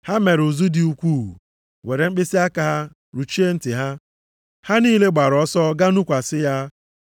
Ha mere ụzụ dị ukwuu, were mkpịsịaka ha rụchie ntị ha. Ha niile gbara ọsọ gaa nụkwasị ya,